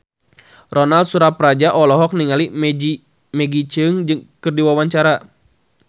Ronal Surapradja olohok ningali Maggie Cheung keur diwawancara